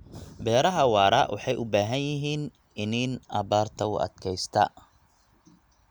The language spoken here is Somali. Beeraha waara waxay u baahan yihiin iniin abaarta u adkaysta.